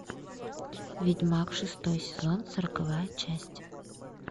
ведьмак шестой сезон сороковая часть